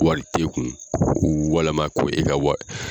Wari t'e kun ko walima ko e ka wari